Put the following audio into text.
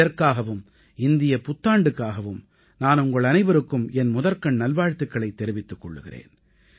இதற்காகவும் இந்தியப் புத்தாண்டுக்காகவும் நான் உங்கள் அனைவருக்கும் என் முதற்கண் நல்வாழ்த்துக்களைத் தெரிவித்துக் கொள்கிறேன்